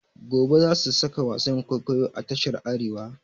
Gobe za su saka wasan kwaikwayo a tashar Arewa.